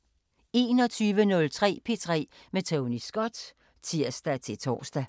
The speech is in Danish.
21:03: P3 med Tony Scott (tir-tor)